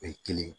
O ye kelen ye